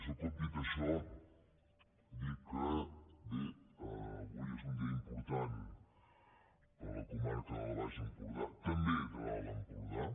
un cop dit això dir que bé avui és un dia important per a la comarca del baix empordà també de l’alt empordà